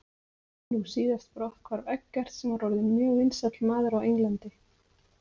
Nú síðast brotthvarf Eggerts sem var orðinn mjög vinsæll maður á Englandi.